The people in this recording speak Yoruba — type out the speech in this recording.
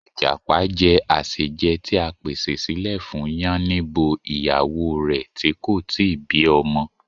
Ìjàpá je àsèjẹ ti a pèsè silẹ̀ fún Yánníbo ìyàwó rẹ̀ ti kò ti bí ọmọ